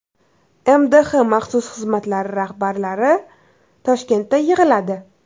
MDH maxsus xizmatlari rahbarlari Toshkentda yig‘iladi.